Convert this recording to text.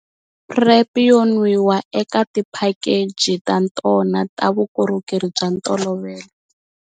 PrEP yo nwiwa eka tiphakeji ta tona ta vukorhokeri bya ntolovelo.